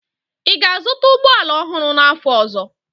Ị ga-azụta ụgbọ ala ọhụrụ n'afọ ọzọ?